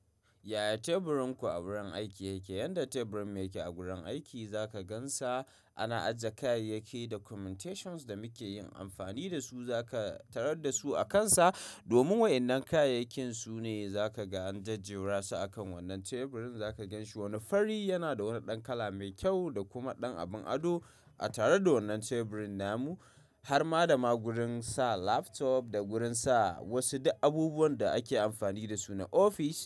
Yaya teburin ku a wurin aiki yake? Yanda teburin mun yake a gurin aiki zaka gansa ana aje kayayyaki documentations da muke yin amfani dasu. Zaka tarar dasu akansa, domin wayanan kayayyakin aune zaka ga an jejjera su akan wannan teburin. Za ka ganshi wani fari yana da wani ɗan kala mai kyau da kuma ɗan abun ado. A tare da wannan teburin namu har ma da ma gurin sa laptop da gurin sa wasu duk abubuwan da ake amfani da su na ofis.